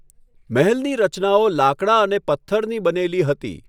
મહેલની રચનાઓ લાકડા અને પથ્થરની બનેલી હતી.